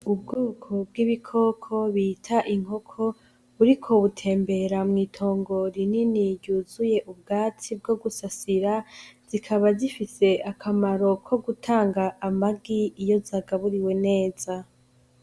Ubwoko bw' ibikoko bita inkoko buriko butembera mwitongo rinini ryuzuye ubwatsi bwo gusasira zikaba zifise akamaro ko gutanga amagi iyo zagaburiwe neza.